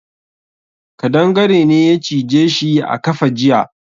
Kadangare ne ya cije shi a kafa jiya.